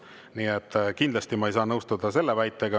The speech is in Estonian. Nii et kindlasti ma ei saa nõustuda selle väitega.